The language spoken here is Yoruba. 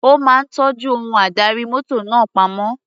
Ó máa tọ́jú ohun adarí mọ́tò náà pamọ́.